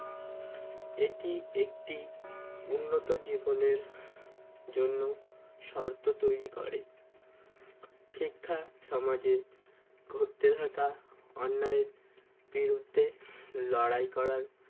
এটি একটি উন্নত জীবনের জন্য শর্ত তৈরি করে শিক্ষা সমাজের ঘটতে থাকা অন্যায়ের বিরুদ্ধে লড়াই করাই